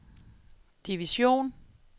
division